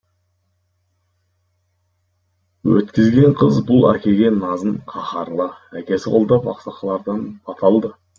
өткізген қыз бұл әкеге назын қаһарлы әкесі қолдап ақсақалдардан бата алды